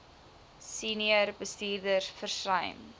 senior bestuurders versuim